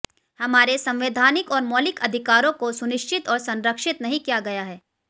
हमारे संवैधानिक और मौलिक अधिकारों को सुनिश्चित और संरक्षित नहीं किया गया है